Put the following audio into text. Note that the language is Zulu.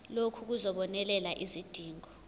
lokhu kuzobonelela izidingo